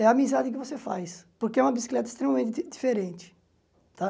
É a amizade que você faz, porque é uma bicicleta extremamente di diferente, tá?